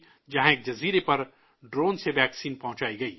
جہاں ایک جزیرہ پر ڈرون سے ویکسین پہنچائی گئی